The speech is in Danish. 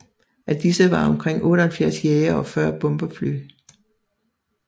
Af disse var omkring 78 jagere og 40 bombefly